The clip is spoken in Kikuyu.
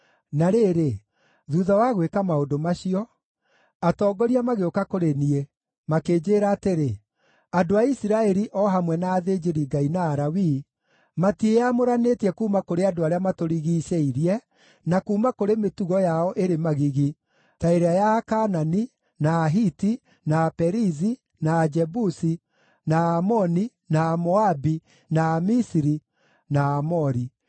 Na rĩrĩ, thuutha wa gwĩka maũndũ macio, atongoria magĩũka kũrĩ niĩ, makĩnjĩĩra atĩrĩ, “Andũ a Isiraeli, o hamwe na athĩnjĩri-Ngai na Alawii, matiĩamũranĩtie kuuma kũrĩ andũ arĩa matũrigiicĩirie, na kuuma kũrĩ mĩtugo yao ĩrĩ magigi, ta ĩrĩa ya Akaanani, na Ahiti, na Aperizi, na Ajebusi, na Aamoni, na Amoabi, na Amisiri, na Aamori.